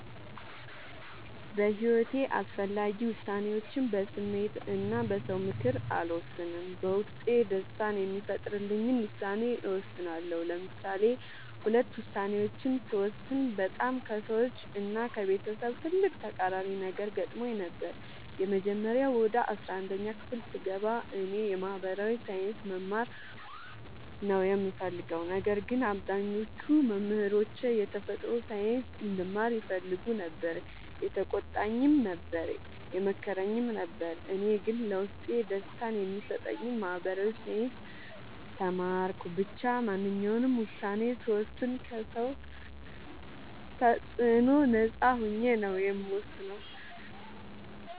በሒወቴ አስፈላጊ ወሳኔዎችን በስሜት እና በ ሰው ምክር አልወሰንም። በውስጤ ደስታን የሚፈጥርልኝን ውሳኔ እወስናለሁ። ለምሳሌ ሁለት ውሳኔዎችን ስወስን በጣም ከሰዎች እና ከቤተሰብ ትልቅ ተቃራኒ ነገር ገጥሞኝ ነበር። የመጀመሪያው ወደ አስራአንድ ክፍል ስገባ እኔ የ ማህበራዊ ሳይንስ መማር ነው የምፈልገው። ነገር ግን አብዛኞቹ መምህሮቼ የተፈጥሮ ሳይንስ እንድማር ይፈልጉ ነበር የተቆጣኝም ነበር የመከረኝም ነበር እኔ ግን ለውስጤ ደስታን የሚሰጠኝን ማህበራዊ ሳይንስ ተማርኩ። ብቻ ማንኛውንም ውሳኔ ስወስን ከ ሰው ተፅዕኖ ነፃ ሆኜ ነው የምወስነው።